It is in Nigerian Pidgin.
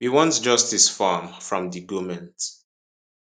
we want justice for am from di goment